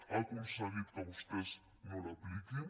ha aconseguit que vostès no l’apliquin